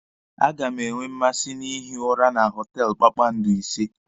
A ga m enwe mmasị na-ihi ụra na họtelụ kpakpando ise.